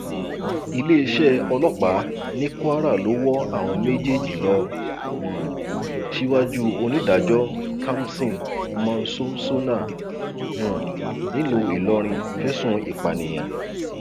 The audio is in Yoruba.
iléeṣẹ ọlọpàá ní kwara ló wọ àwọn méjèèjì lọ um síwájú onídàájọ kamson monsónsónà um nílùú ìlọrin fẹsùn ìpànìyàn